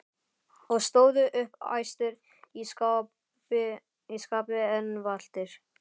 og stóðu upp æstir í skapi en valtir.